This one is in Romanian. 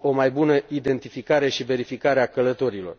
o mai bună identificare și verificare a călătorilor.